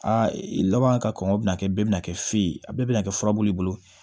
Aa laban ka kɔngɔ bɛna kɛ bɛɛ bina kɛ fe ye a bɛɛ bɛna kɛ furabulu bolo